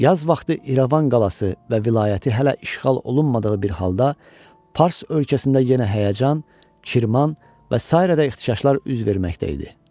Yaz vaxtı İrəvan qalası və vilayəti hələ işğal olunmadığı bir halda fars ölkəsində yenə həyəcan, Kirman və sairədə ixtişaşlar üz verməkdə idi.